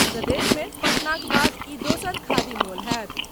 प्रदेश मे पटनाक बाद ई दोसर खादी मॉल होयत।